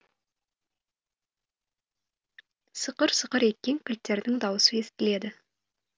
сықыр сықыр еткен кілттердің дауысы естіледі